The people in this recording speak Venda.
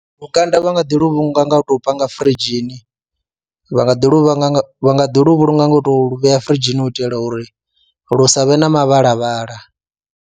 Lukanda vha nga ḓi lu vhulunga nga u tou panga firidzhini vha nga ḓi lu vha lu vha nga ḓi lu vhulunga nga u tou vhea firidzhini u itela uri lu sa vhe na mavhala, vhala